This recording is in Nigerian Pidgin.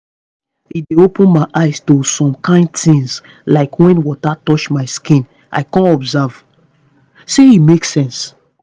e dey open my eyes to some kain tins like when water touch my skin i come observe say e make sense